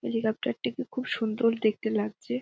Helicopter -টিকে খুব সুন্দর দেখতে লাগছে ।